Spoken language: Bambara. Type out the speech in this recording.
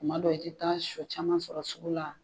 Kuma dɔ i te taa sɔ caman sɔrɔ sugu la.